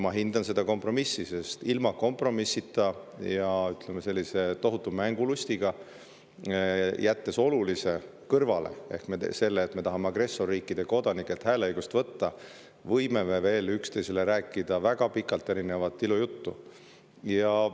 Ma hindan seda kompromissi, sest ilma kompromissita, ja ütleme, sellise tohutu mängulusti tõttu, kui me jätame kõrvale olulise ehk selle, et me tahame agressorriikide kodanikelt hääleõigust võtta, võime me üksteisele veel väga pikalt erinevat ilujuttu rääkida.